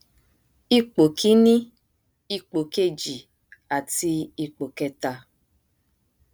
ipò kíní ipò kejì àti ipò kẹta